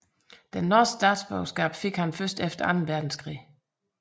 Norsk statsborgerskab fik han først efter Anden Verdenskrig